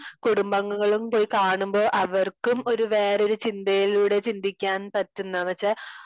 കുടുംബാംഗങ്ങളും പോയി കാണുമ്പോ അവർക്കും ഒരു വേറെ ഒരു ചിന്തയിലൂടെ ചിന്തിക്കാൻ പറ്റുന്ന എന്ന്വച്ചാ